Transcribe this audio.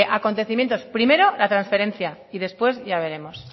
acontecimientos primero la transferencia y después ya veremos